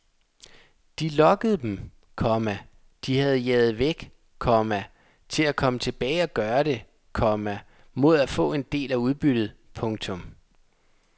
De lokkede dem, komma de havde jaget væk, komma til at komme tilbage og gøre det, komma mod at få en del af udbyttet. punktum